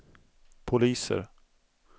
poliser